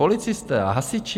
Policisté a hasiči.